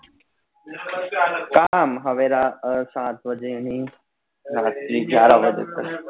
હવે રા સાત બજે થી રાત ની ગ્યાર બજે તક